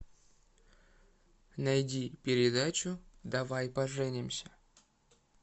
найди передачу давай поженимся